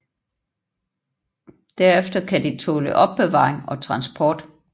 Derefter kan de tåle opbevaring og transport